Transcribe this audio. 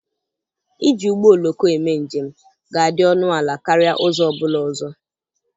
Iji ụgbọ oloko eme njem ga-adị ọnụ ala karịa ụzọ ọ bụla ọzọ.